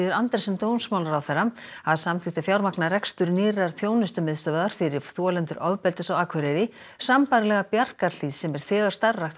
Andersen dómsmálaráðherra hafa samþykkt að fjármagna rekstur nýrrar þjónustumiðstöðvar fyrir þolendur ofbeldis á Akureyri sambærilega Bjarkarhlíð sem er þegar starfrækt á